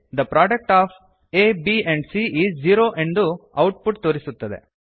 the product of a b and c is zero ಎಂದು output ತೋರಿಸುತ್ತದೆ